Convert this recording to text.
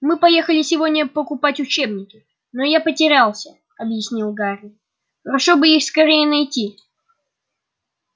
мы поехали сегодня покупать учебники но я потерялся объяснил гарри хорошо бы их скорее найти